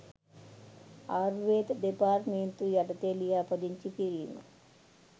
ආයුර්වේද දෙපාර්තමේන්තුව යටතේ ලියාපදිංචි කිරීම